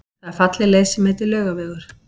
Það er falleg leið sem heitir Laugavegur.